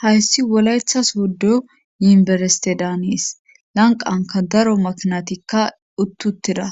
Hayssi wolaythas wuddo yinbereste daanees lanqanka daro maknatikka uttuttira